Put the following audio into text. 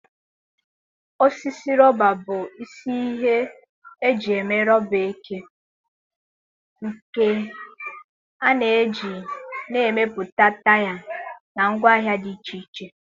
Osisi rọba bụ isi ihe eji eme rọba eke, nke a na-eji na-emepụta taya na ngwaahịa dị iche iche.